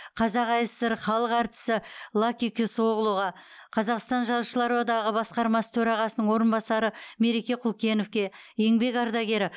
қазақ аср халық әртісі лаки кесоглуға қазақстан жазушылар одағы басқармасы төрағасының орынбасары мереке құлкеновке еңбек ардагері